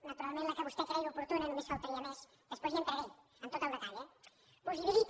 naturalment la que vostè creia oportuna només faltaria després hi entraré amb tot el detall eh possibilita